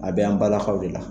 A bɛ an balakaw de la!